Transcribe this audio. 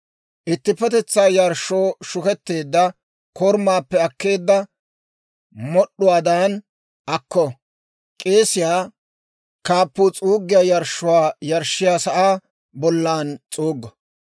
Ittippetetsaa yarshshoo shuketteedda korumaappe akkeedda mod'd'uwaadan akko. K'eesiyaa kaappuu s'uuggiyaa yarshshuwaa yarshshiyaa sa'aa bollan s'uuggo.